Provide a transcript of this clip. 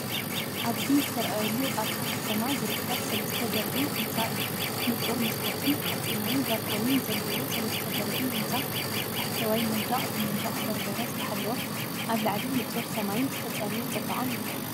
ኣብዚ ዝተርኣየሉ ኣብታ ከተማ ዝርከብ ሰለስተ ደርቢ ህንፃ እዩ። ንጹር መስኮትን ሓጺናዊ ባርኮኒን ዘለዎ ሰለስተ ደርቢ ህንጻ፡ ታሕተዋይ መንደቕ ብመንደቕ በርበረ ዝተሓለወ። ኣብ ላዕሊ ንጹር ሰማይን ዝተጸረየ ጽባቐን ይርአ።